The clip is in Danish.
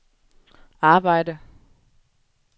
arbejde